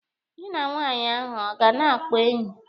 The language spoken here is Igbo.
Gị na nwaanyị ahụ ọ na-akpa enyi?